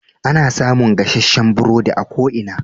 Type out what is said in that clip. Ana samun gasasshen burodi a ko ina.